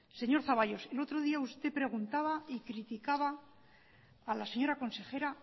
señor zaballos el otro día usted preguntaba y criticaba a la señora consejera